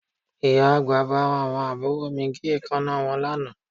Ìyá àgbà bá àwọn àbúrò mi gé èékánná wọn lánàá